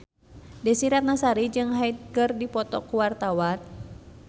Desy Ratnasari jeung Hyde keur dipoto ku wartawan